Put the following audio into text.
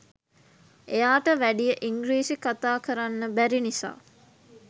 එයාට වැඩිය ඉංග්‍රීසි කතා කරන්න බැරි නිසා